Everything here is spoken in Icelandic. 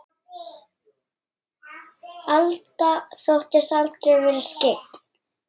Alda þóttist aldrei vera skyggn.